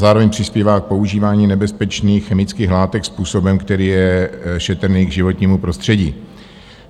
Zároveň přispívá k používání nebezpečných chemických látek způsobem, který je šetrný k životnímu prostředí.